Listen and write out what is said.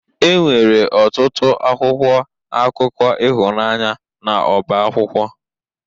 Enwere ọtụtụ akwụkwọ akụkọ ịhụnanya n'ọba akwụkwọ